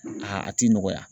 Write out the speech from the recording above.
a ti nɔgɔya.